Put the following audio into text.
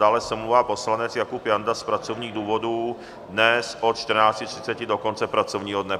Dále se omlouvá poslanec Jakub Janda z pracovních důvodů dnes od 14.30 do konce pracovního dne.